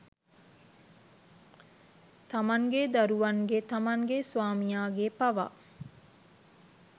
තමන්ගෙ දරුවන්ගේ තමන්ගෙ ස්වාමියාගේ පවා